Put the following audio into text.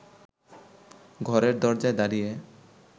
ঘরের দরজায় দাঁড়িয়ে